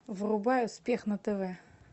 врубай успех на тв